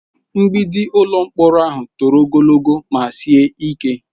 Mgbidi ụlọ mkpọrọ ahụ toro ogologo ma sie ike.